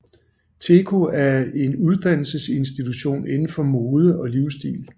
TEKO er en uddannelsesinstitution inden for mode og livsstil